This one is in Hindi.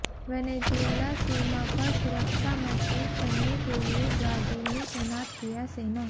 वेनेजुएला सीमा पर सुरक्षा मजबूत करने के लिए ब्राजील ने तैनात किया सेना